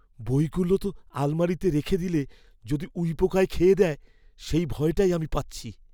বইগুলো আলমারিতে রেখে দিলে যদি উইপোকায় খেয়ে দেয়, সেই ভয়টাই আমি পাচ্ছি।